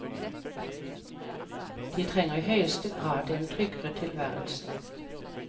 De trenger i høyeste grad en tryggere tilværelse.